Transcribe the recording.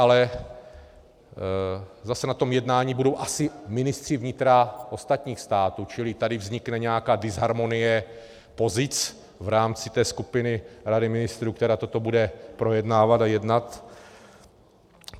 Ale zase na tom jednání budou asi ministři vnitra ostatních států, čili tady vznikne nějaká disharmonie pozic v rámci té skupiny Rady ministrů, která toto bude projednávat a jednat.